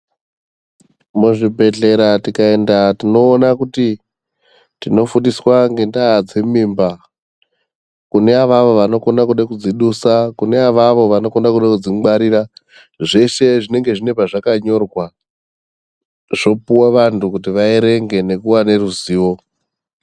Muzvibhedhlera tikaenda tinona kuti tinofundiswa ngendaa dzemimba. Kune avavo vanokona kudzidusa kune kune avavo vanokona kude kudzingwarira. Zveshe zvinenge zvine pazvakanyorwa zvopuva vantu kuti vaverenge nekuva neruzivo.